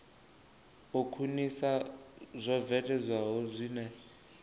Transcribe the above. u khwinisa zwo bveledzwaho zwine